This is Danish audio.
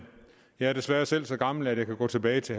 jeg er desværre selv så gammel at jeg kan gå tilbage til